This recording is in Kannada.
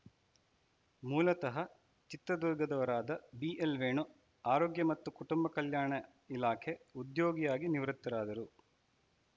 ಮೂಲತಃ ಚಿತ್ರದುರ್ಗದವರಾದ ಬಿಎಲ್‌ವೇಣು ಆರೋಗ್ಯ ಮತ್ತು ಕುಟುಂಬ ಕಲ್ಯಾಣ ಇಲಾಖೆ ಉದ್ಯೋಗಿಯಾಗಿ ನಿವೃತ್ತರಾದರು